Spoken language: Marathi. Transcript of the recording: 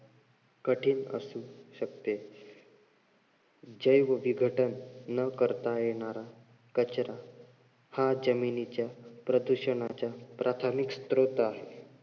कठीण असू शकते. जैवविघटन न करता येणारा कचरा हा जमिनीच्या प्रदूषणाच्या प्राथमिक स्त्रोत आहे.